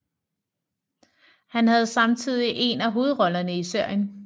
Han havde samtidig en af hovedrollerne i serien